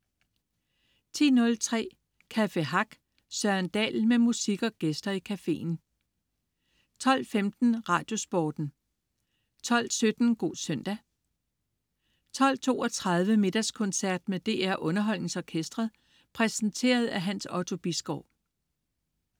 10.03 Café Hack. Søren Dahl med musik og gæster i caféen 12.15 Radiosporten 12.17 God søndag 12.32 Middagskoncert med DR UnderholdningsOrkestret. Præsenteret af Hans Otto Bisgaard